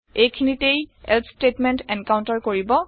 এই খিনিতে এলছে ষ্টেটমেণ্ট এনকাউন্টাৰ কৰিব